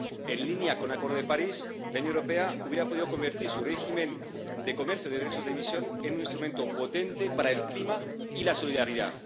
En línea con el Acuerdo de París, la Unión Europea habría podido convertir su régimen de comercio de derechos de emisión en un instrumento potente para el clima y la solidaridad.